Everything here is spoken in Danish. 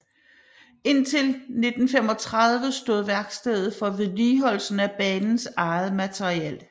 Indtil 1935 stod værkstedet for vedligeholdelsen af banens eget materiel